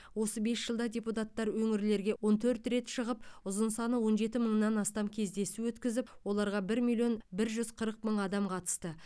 осы бес жылда депутаттар өңірлерге он төрт рет шығып ұзын саны он жеті мыңнан астам кездесу өткізіп оларға бір миллион бір жүз қырық мың адам қатысты